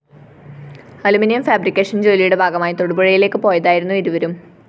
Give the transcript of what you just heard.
aluminium fabrication ജോലിയുടെ ഭാഗമായി തൊടുപുഴയിലേക്ക് പോയതായിരുന്നു ഇരുവരും